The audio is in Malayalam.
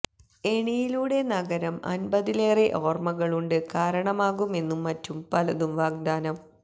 എണിയിലൂടെ നഗരം അൻപതിലേറെ ഓർമ്മകളുണ്ട് കാരണമാകും എന്ന് മറ്റു പലതും വാഗ്ദാനം